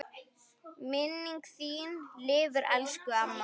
Minning þín lifir elsku amma.